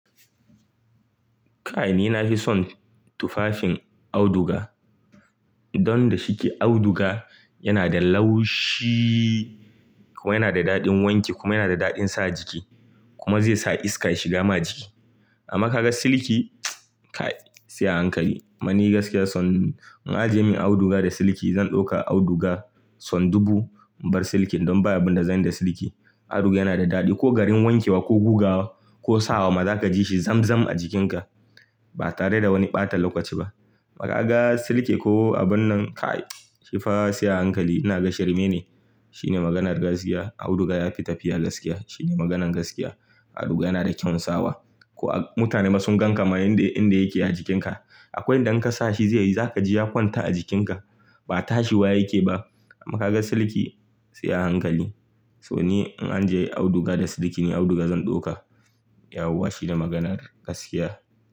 Kai ni na fi son tufafin auduga. Don da shike auduga yana da laushi kuma yana da daɗin wanke kuma yana da daɗin sa jiki kuma zai sa iska shiga ma jiki. Amma kaga silki kai sai a hankali. Mani gaskiya son in aje min auduga da silki zan ɗauka auduga son dubu in bar silkin don baya abun da zan yi da silki. Auduga yana da daɗi ko garin wanke wa ko gugawa ko sawa ma za ka ji shi zamzam a jikinka ba tare da wani ɓata lokaci ba. Amma kaga silki ko abun nan kai shi fa sai a hankali. Ina gashi rme ne shine maganar gaskiya. Auduga ya fi tafiya gaskiya shine maganan gaskiya. Auduga yana da kyau sawa. Ko a mutane masu gan kama inda yake a jikinka. Akwai inda in ka sa shi zai yi za ka ji ya kwanta a jikinka. Ba tashi waye yake ba. Amma kaga silki sai a hankali. So ni in aje auduga da silki ne auduga zan ɗauka. Yauwa shine maganar gaskiya.